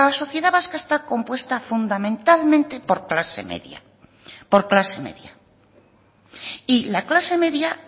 sociedad vasca está compuesta fundamentalmente por clase media y la clase media